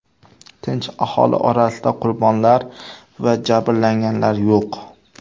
Tinch aholi orasida qurbonlar va jabrlanganlar yo‘q.